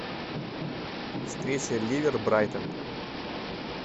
встреча ливер брайтон